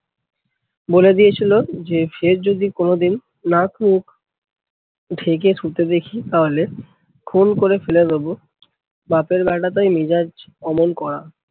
বলে দিয়েছিলো যে ফের যদি কোনোদিন নাক মুখ ঢেকে শুতে দেখি তাহলে খুন করে ফেলে দেবো। বাপের বেটা তাই মেজাজ অমন কড়া।